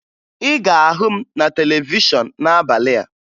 Ị ga-ahụ m na televishọn n'abalị a